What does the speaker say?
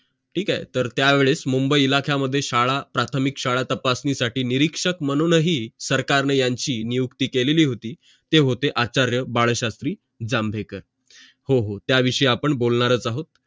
ठीक आहे तर त्या वेळेस मुंबई इलाख्या मध्ये प्राथमिक शाळा तपासणी साठी निरिक्षक म्हणूनही सरकारने यांची नियुक्ती केलेली होती ते होते आचार्य बाळशास्त्री जांभेकर त्या विषयी आपण बोलणारच आहोत